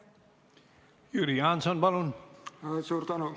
Jüri Jaanson, palun!